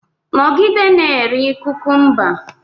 Nọgide na-eri kukumba!